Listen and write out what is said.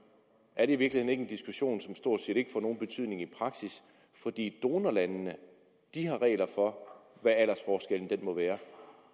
er det i virkeligheden ikke en diskussion som stort set ikke får nogen betydning i praksis fordi donorlandene har regler for hvad aldersforskellen må være